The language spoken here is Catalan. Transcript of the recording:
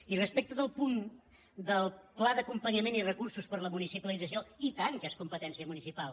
i respecte del punt del pla d’acompanyament i recursos per a la municipalització i tant que és competència municipal